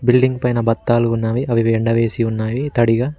Bidding పైన బతాలు ఉన్నవి అవి ఎండ వేసి ఉన్నవి తడిగా.